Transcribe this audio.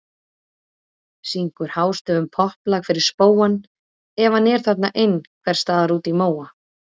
Syngur hástöfum popplag fyrir spóann ef hann er þarna ein- hvers staðar úti í móa.